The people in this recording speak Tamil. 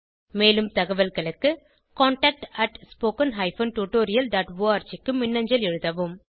மேலும் தகவல்களுக்கு contactspoken tutorialorg க்கு மின்னஞ்சல் எழுதவும்